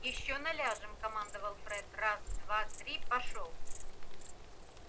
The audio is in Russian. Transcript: ещё наляжем командовал фред раз-два пошёл